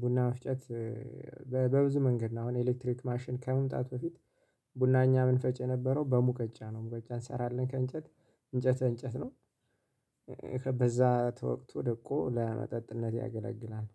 ቡና መፍጨት በብዙ መንገድ ነው። አሁን ኤሌክትሪክ ማሽን ከመምጣት በፊት ቡና እኛ ምንፈጭ የነበረው በሙቀጫ ነው። ሙቀጫ እንሰራለን ከእንጨት እንጨት እንጨት ነው። ከበዛ ተወቅቶ ደቆ ለመጠጥነት ያገለግላል